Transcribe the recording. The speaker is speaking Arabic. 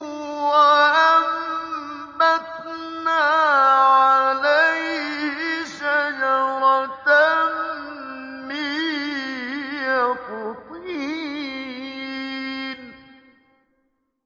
وَأَنبَتْنَا عَلَيْهِ شَجَرَةً مِّن يَقْطِينٍ